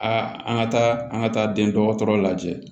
A an ka taa an ka taa den dɔgɔtɔrɔ lajɛ